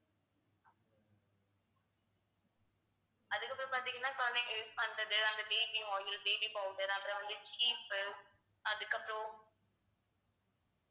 அதுக்கப்புறம் பாத்தீங்கன்னா குழந்தைங்க use பண்றது அந்த baby oil, baby powder அது வந்து சீப் அதுக்கப்புறம்